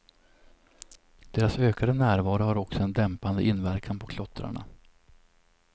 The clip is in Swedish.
Deras ökande närvaro har också en dämpande inverkan på klottrarna.